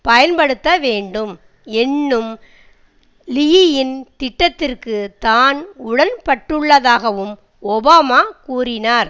பயன்படுத்த வேண்டும் என்னும் லீயின் திட்டத்திற்கு தான் உடன்பட்டுள்ளதாகவும் ஒபாமா கூறினார்